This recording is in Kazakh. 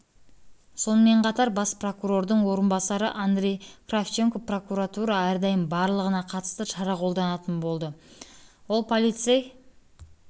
сонымен қатар бас прокурордың орынбасары андрей кравченко прокуратура әрдайым барлығына қатысты шара қолданатын болады ол полицей